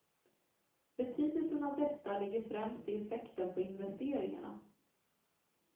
Betydelsen av detta ligger främst i effekten på investeringarna.